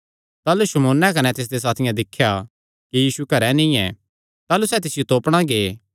ताह़लू शमौन कने तिसदे साथी तिसियो तोपणा गै